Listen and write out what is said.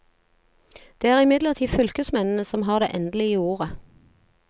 Det er imidlertid fylkesmennene som har det endelige ordet.